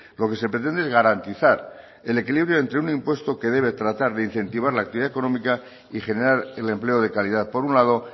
lo que se pretende es garantizar el equilibrio entre un impuesto que debe tratar de incentivar la actividad económica y generar el empleo de calidad por un lado